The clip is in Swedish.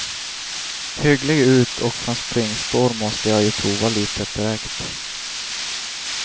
Hygglig ut och från springspår måste jag ju prova litet direkt.